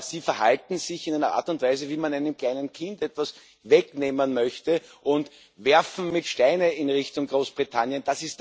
Sie verhalten sich in einer Art und Weise, wie wenn man einem kleinen Kind etwas wegnehmen möchte und werfen mit Steinen in Richtung Großbritannien.